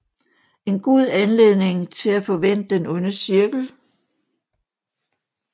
En god anledning til at få vendt den onde cirkel